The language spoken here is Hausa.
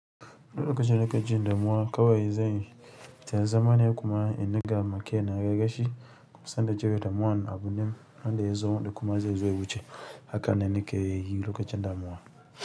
Lokacin da nake jin damuwa, kawai zanyi ta zama ne kuma in dinga ma kaina rashi sannan na cire damuwan abunnan, wanda yazo da kuma zai zo ya wuce haka nan nake yi lokacin damuwa.